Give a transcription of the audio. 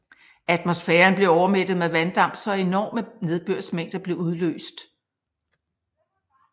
Atmosfæren blev overmættet med vanddamp så enorme nedbørsmængder blev udløst